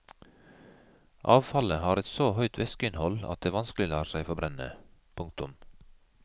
Avfallet har et så høyt væskeinnhold at det vanskelig lar seg forbrenne. punktum